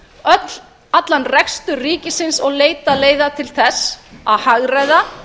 ríkisbúskaparins allan rekstur ríkisins og leita leiða til þess að hagræða